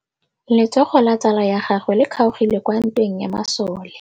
Letsôgô la tsala ya gagwe le kgaogile kwa ntweng ya masole.